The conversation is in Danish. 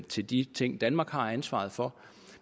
til de ting danmark har ansvaret for